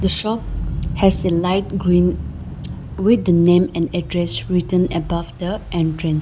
The shop has a light green with the name and address written above the entrance